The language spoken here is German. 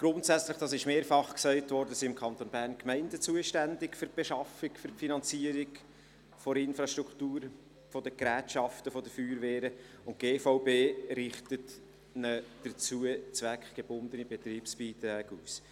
Grundsätzlich – das wurde mehrfach gesagt – sind im Kanton Bern die Gemeinden für die Beschaffung, für die Finanzierung der Infrastruktur, der Gerätschaften der Feuerwehren zuständig, und die GVB richtet ihnen dazu zweckgebundene Betriebsbeiträge aus.